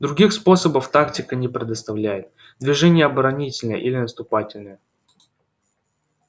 других способов тактика не представляет движение оборонительное или наступательное